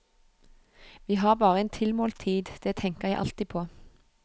Vi har bare en tilmålt tid, det tenker jeg alltid på.